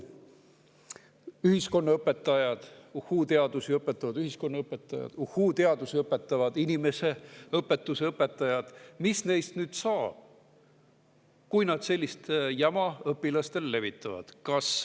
Mis nüüd uhhuu-teadusi õpetavatest ühiskonnaõpetajatest ja uhhuu-teadusi õpetavatest inimeseõpetuse õpetajatest saab, kui nad sellist jama õpilastele levitavad?